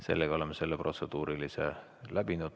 Sellega oleme selle protseduurilise küsimuse läbinud.